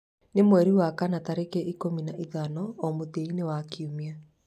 nĩ mweri wa kana tarĩki ikũmi na ithano o mũthia-inĩ wa kiumia